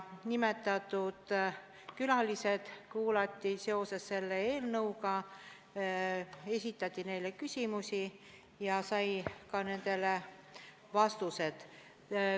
Nimetatud külalisi kuulati seoses selle eelnõuga, esitati neile küsimusi ja saadi ka nendele vastused.